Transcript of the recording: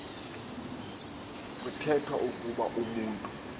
kuthethwa ukuba umntu